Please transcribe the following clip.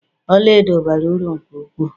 Ọlaedo bara uru nke ukwuu